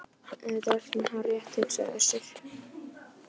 En þetta er allt saman hárrétt, hugsaði Össur.